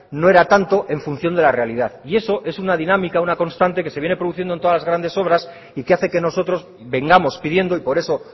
no era tanto en función de la realidad y eso es una dinámica una constante que se viene produciendo en todas las grandes obras y que hace que nosotros vengamos pidiendo y por eso